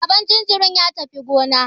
Baban jinjirin ya tafi gona.